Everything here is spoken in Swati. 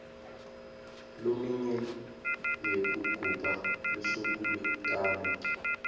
leminye yekugubha lusuku lekutalwa